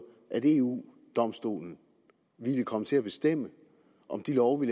at eu domstolen ville komme til at bestemme om de love vi